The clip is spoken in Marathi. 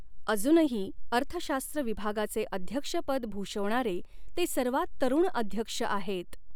अजूनही, अर्थशास्त्र विभागाचे अध्यक्षपद भूषवणारे ते सर्वात तरुण अध्यक्ष आहेत.